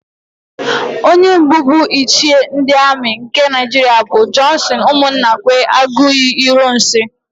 Onye mbụ bụ Ichie ndị Amị nke Naịjiria bụ Jọnsịn Ụmụnnakwe Aguiyi-Ironsị.